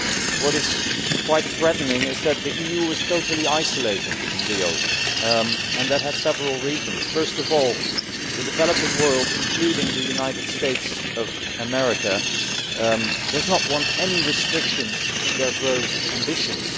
What is quite threatening is that the EU was totally isolated in Rio. There were several reasons for this. First of all, the developing world, along with the United States of America, does not want any restrictions on its growth ambitions.